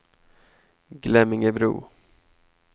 Glemmingebro